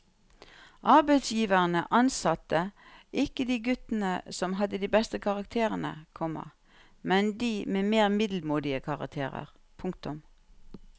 Arbeidsgiverne ansatte ikke de guttene som hadde de beste karakterene, komma men de med mer middelmådige karakterer. punktum